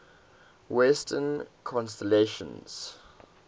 western constellations